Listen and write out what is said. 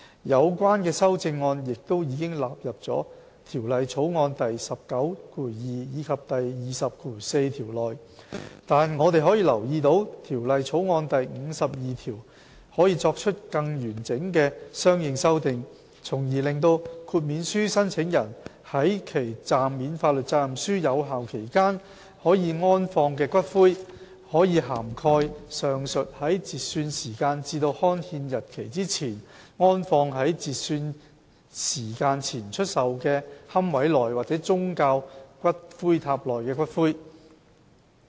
有關修正案亦已納入《條例草案》第192及204條內，但我們可以留意到《條例草案》第52條可作出更完整的相應修訂，從而令豁免書申請人在其暫免法律責任書有效期間可安放的骨灰，可涵蓋上述在截算時間至刊憲日期之前，安放在截算時間前出售的龕位內或宗教骨灰塔內的骨灰。